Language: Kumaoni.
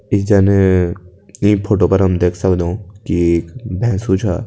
इ जन इ फोटो पर हम देख सक्दों की एक भैंसु छा --